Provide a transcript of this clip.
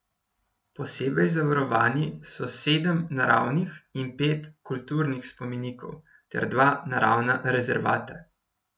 Posebej zavarovani so sedem naravnih in pet kulturnih spomenikov ter dva naravna rezervata.